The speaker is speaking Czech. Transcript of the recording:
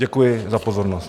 Děkuji za pozornost.